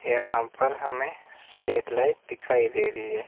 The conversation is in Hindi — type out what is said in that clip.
यहां पर हमें स्ट्रीट लाइट दिखाई दे रही है।